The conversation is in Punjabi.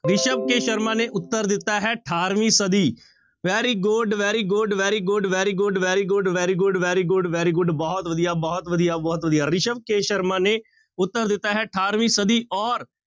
ਰਿਸਵ ਕੇ ਸ਼ਰਮਾ ਨੇ ਉੱਤਰ ਦਿੱਤਾ ਹੈ ਅਠਾਰਵੀਂ ਸਦੀ very good, very good, very good, very good, very good, very good, very good, very good ਬਹੁਤ ਵਧੀਆ, ਬਹੁਤ ਵਧੀਆ, ਬਹੁਤ ਵਧੀਆ, ਰਿਸਵ ਕੇ ਸ਼ਰਮਾ ਨੇ ਉੱਤਰ ਦਿੱਤਾ ਹੈ ਅਠਾਰਵੀਂ ਸਦੀ ਔਰ